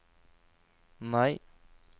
nei